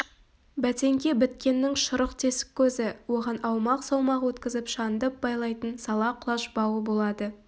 бәтеңке біткеннің шұрық тесік көзі оған аумақ-саумақ өткізіп шандып байлайтын сала құлаш бауы болады